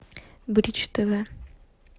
бридж тв